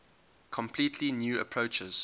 completely new approaches